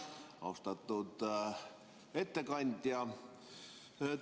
Austatud ettekandja!